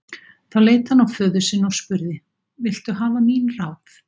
Þá leit hann á föður sinn og spurði: Viltu hafa mín ráð?